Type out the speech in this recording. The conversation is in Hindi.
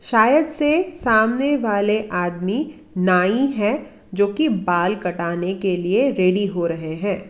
शायद से सामने वाले आदमी नाई है जो की बाल कटाने के लिए रेडी हो रहे हैं।